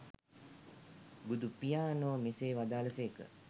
බුදුපියාණෝ මෙසේ වදාළ සේක.